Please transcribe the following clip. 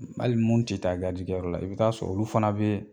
Hali mun ti taa kɛyɔrɔ la i bɛ taa sɔrɔ olu fana bee